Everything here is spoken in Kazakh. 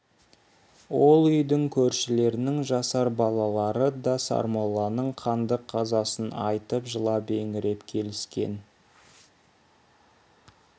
ол үйдің көршілерінің жасар балалары да сармолланың қанды қазасын айтып жылап-еңіреп келіскен